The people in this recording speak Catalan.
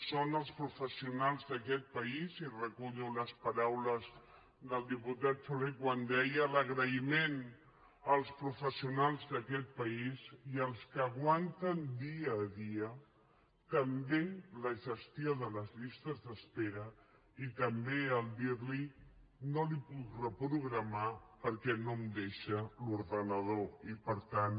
són els professionals d’aquest país i recullo les paraules del diputat soler quan deia l’agraïment als professionals d’aquest país i als que aguanten dia a dia també la gestió de les llistes d’espera i també el fet de dir li no li ho puc reprogramar perquè no em deixa l’ordinador i per tant